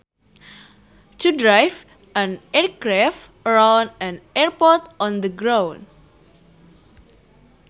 To drive an aircraft around an airport on the ground